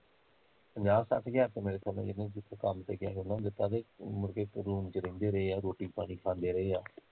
ਪੰਜਾਹ ਸੱਠ ਹਜ਼ਾਰ ਰੁੱਪਈਆ ਮੇਰੇ ਹਿਸਾਬ ਨਾਲ਼ ਤਾਂ ਇਹਨੇ ਉਹਨਨਾ ਨੂੰ ਦਿੱਤਾ ਤੇ ਮੁੜ ਕੇ room ਚ ਰਹਿੰਦੇ ਰਹੇ ਆ ਰੋਟੀ ਪਾਣੀ ਖਾਂਦੇ ਰਹੇ ਆ